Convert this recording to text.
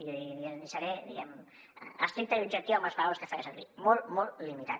i seré diguem estricte i objectiu amb les paraules que faré servir molt limitat